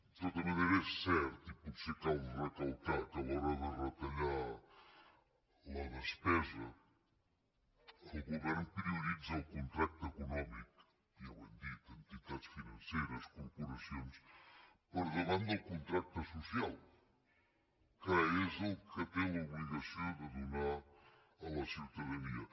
de tota manera és cert i potser cal recalcar que a l’hora de retallar la despesa el govern prioritza el contracte econòmic ja ho hem dit a entitats financeres corporacions per davant del contracte social que és el que té l’obligació de donar a la ciutadania